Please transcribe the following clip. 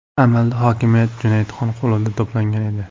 Amalda hokimiyat Junaydxon qo‘lida to‘plangan edi.